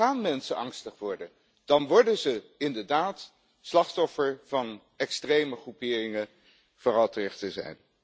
Dan gaan mensen angstig worden, dan worden ze inderdaad slachtoffer van extreme groeperingen, vooral ter rechterzijde.